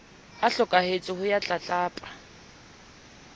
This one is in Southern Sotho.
a hlokahetse ho ya tlatlapa